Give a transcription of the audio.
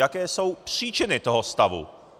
Jaké jsou příčiny toho stavu.